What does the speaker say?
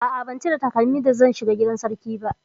A'a, ban cire takalmi da zan shiga gidan sarki ba.